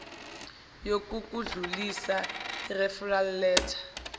yokukudlulisa referral letter